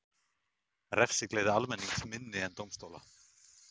Refsigleði almennings minni en dómstóla